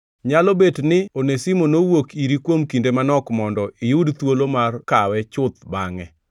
Nyalo bet ni Onesimo nowuok iri kuom kinde manok mondo iyud thuolo mar kawe chuth bangʼe,